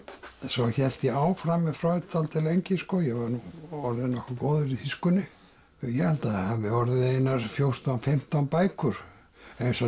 svo hélt ég áfram með dálítið lengi ég var nú orðinn nokkuð góður í þýskunni ég held það hafi orðið einar fjórtán til fimmtán bækur eins og